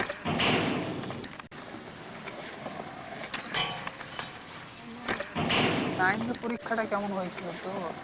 nine এর পরীক্ষা টা কেমন হয়েছিল তোর?